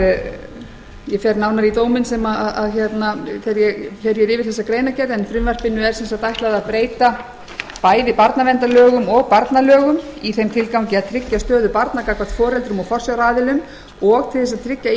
ég fer nánar í dóminn þegar ég fer yfir greinargerðina en frumvarpinu er ætlað að breyta bæði barnaverndarlögum og barnalögum í þeim tilgangi að tryggja stöðu barna gagnvart foreldrum og forsjáraðilum og tryggja